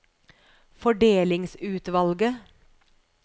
fordelingsutvalget